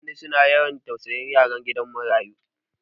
Mutane su na yawan tausayin yaran gidan marayu.